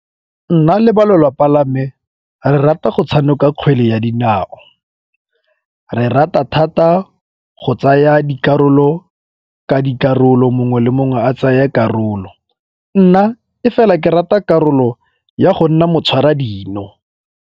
Nna le ba lelapa la me re rata go tshameka kgwele ya dinao. Re rata thata go tsaya dikarolo ka dikarolo, mongwe le mongwe a tsaye karolo. Nna e fela ke rata karolo ya go nna motshwara dino.